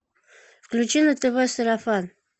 включи на тв сарафан